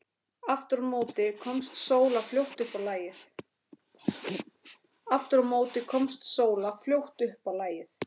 Aftur á móti komst Sóla fljótt upp á lagið.